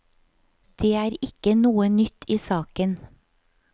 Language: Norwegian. Det er ikke noe nytt i saken.